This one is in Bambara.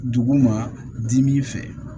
Duguma dimi fɛ